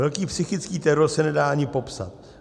Velký psychický teror se nedá ani popsat.